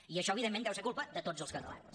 i això evidentment deu ser culpa de tots els catalans